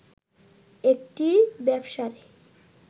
একটি ব্যবসার